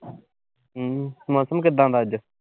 ਹਮ ਮੌਸਮ ਕਿੱਦਾਂ ਦਾ ਅੱਜ।